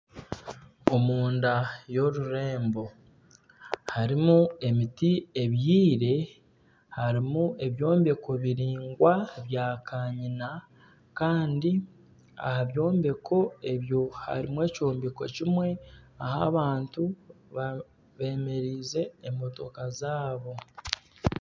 Omunda y'orurembo harimu emiti ebyire harimu ebyombeko biringwa bya kanyina Kandi aha byombeko ebyo harimu ekyombeko kimwe ahi abantu bemereize emotoka zaabo.